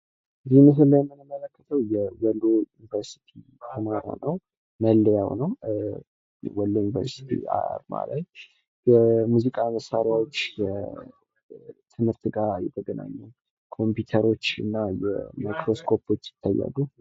ምስሉ ላይ የምንመለከተው የወሎ ዩኒቨርስቲ አርማ ነው። መለያ ነው ።በማህላቸው የሙዚቃ መሳሪያዎች ከትምህርት ጋር የተገናኙ ፣የተለያዩ ኮምፒውተሮች እና ማይክሮስኮፖች ይታያሉ።